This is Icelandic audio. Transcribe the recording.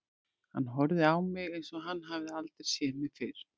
Hann horfði á mig, eins og hann hefði aldrei séð mig fyrr.